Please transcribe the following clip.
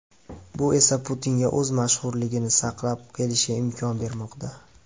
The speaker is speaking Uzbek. Bu esa Putinga o‘z mashhurligini saqlab kelishiga imkon bermoqda.